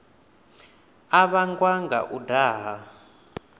a vhangwa nga u daha